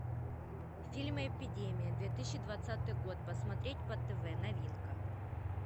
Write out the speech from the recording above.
фильм эпидемия две тысячи двадцатый год посмотреть по тв новинка